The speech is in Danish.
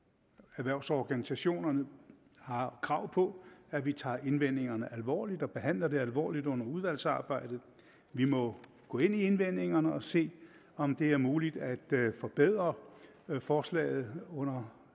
erhvervsorganisationerne har krav på at vi tager indvendingerne alvorligt og behandler det alvorligt under udvalgsarbejdet vi må gå ind i indvendingerne og se om det er muligt at forbedre forslaget under